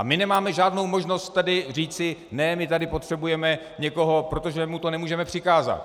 A my nemáme žádnou možnost tady říci: ne, my tady potřebujeme někoho, protože mu to nemůžeme přikázat.